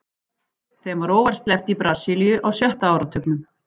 Þeim var óvart sleppt í Brasilíu á sjötta áratugnum.